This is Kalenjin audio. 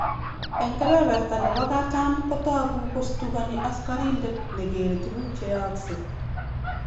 Eng kebeberta nebo katam, kotogu kostugani askarindet ne gere tuguk che yaakse